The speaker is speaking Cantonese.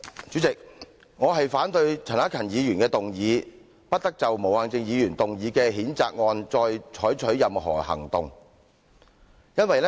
主席，我反對陳克勤議員的議案，"不得就毛孟靜議員動議的譴責議案再採取任何行動"。